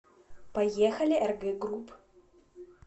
поехали рг групп